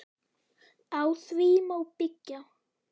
Á því má byggja.